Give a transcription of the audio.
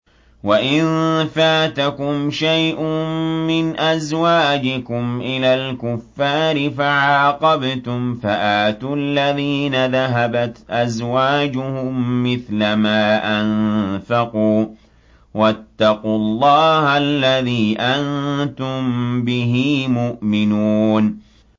وَإِن فَاتَكُمْ شَيْءٌ مِّنْ أَزْوَاجِكُمْ إِلَى الْكُفَّارِ فَعَاقَبْتُمْ فَآتُوا الَّذِينَ ذَهَبَتْ أَزْوَاجُهُم مِّثْلَ مَا أَنفَقُوا ۚ وَاتَّقُوا اللَّهَ الَّذِي أَنتُم بِهِ مُؤْمِنُونَ